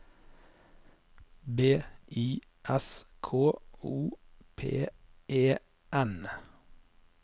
B I S K O P E N